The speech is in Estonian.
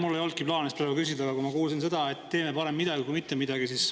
Mul ei olnudki plaanis praegu küsida, aga siis ma kuulsin seda, et teeme parem midagi kui mitte midagi.